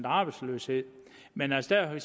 arbejdsløshed men der ser vi